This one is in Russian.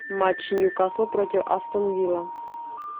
матч ньюкасл против астон вилла